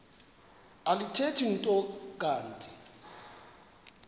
alithethi nto kanti